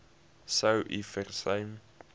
sou u versuim